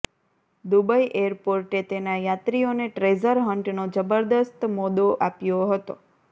Dubai એરપોર્ટે તેના યાત્રીઓને ટ્રેઝર હન્ટનો જબરદસ્ત મોદો આપ્યો હતો